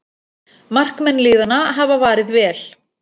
Markmenn liðanna hafa varið vel